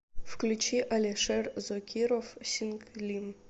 включи алишер зокиров синглим